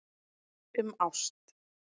Um ást.